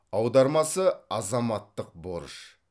аудармасы азаматтық борыш